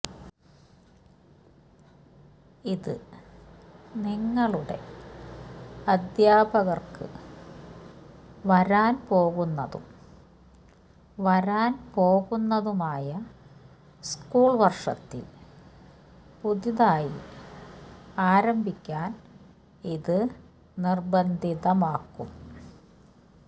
ഇത് നിങ്ങളുടെ അദ്ധ്യാപകർക്ക് വരാൻ പോകുന്നതും വരാൻ പോകുന്നതുമായ സ്കൂൾ വർഷത്തിൽ പുതുതായി ആരംഭിക്കാൻ ഇത് നിർബന്ധിതമാക്കും